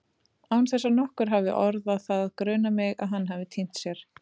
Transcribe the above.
Án þess að nokkur hafi orðað það grunar mig að hann hafi týnt sér.